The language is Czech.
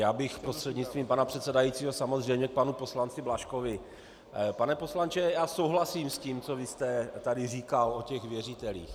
Já bych prostřednictvím pana předsedajícího samozřejmě k panu poslanci Blažkovi: Pane poslanče, já souhlasím s tím, co vy jste tady říkal o těch věřitelích.